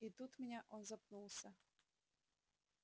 и тут меня он запнулся